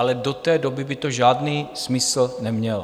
Ale do té doby by to žádný smysl nemělo.